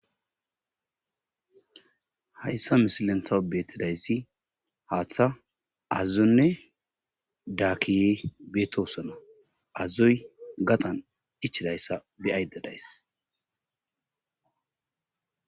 Hayssa misilen taw betidayssi haththa, aazzonne dakiye do'issona. Aazoy gadhdhan ichcidayssa be'ayddadays.